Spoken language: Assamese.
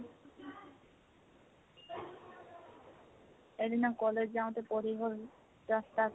এদিনা college যাওতে পৰি গল ৰাস্তাত